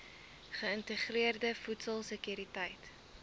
geïntegreerde voedsel sekuriteit